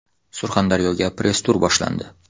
Surxondaryoga press tur boshlandi .